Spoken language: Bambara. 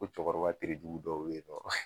Ko cɛkɔrɔba terejugu dɔw be yen nɔ